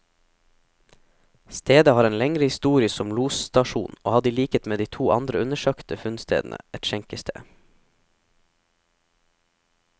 Stedet har en lengre historie som losstasjon, og hadde i likhet med de to andre undersøkte funnstedene, et skjenkested.